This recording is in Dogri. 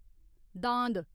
दांद